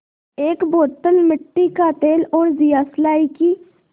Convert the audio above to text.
एक बोतल मिट्टी का तेल और दियासलाई की